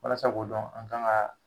Walasa k' dɔn ,an kan ka